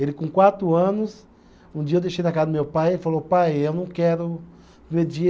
Ele com quatro anos, um dia eu deixei na casa do meu pai e ele falou, pai, eu não quero